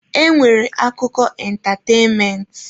E nwere akụkọ ịntatenment.